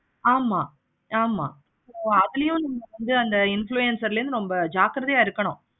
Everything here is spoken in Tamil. ஆமா ஆமா அதுலயும் வந்து அந்த influencer ல வந்து நம்ம ஜாக்கிரதையா இருக்கணும்.